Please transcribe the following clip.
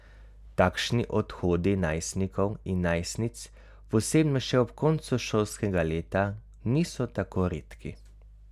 Takšni odhodi najstnikov in najstnic, posebno še ob koncu šolskega leta, niso tako redki.